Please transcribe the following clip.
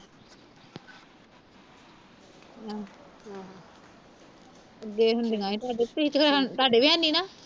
ਤੁਹੀ ਤੇ ਮੈਂ ਤੁਹਾਡੇ ਵੀ ਹੈਨੀ ਨਾ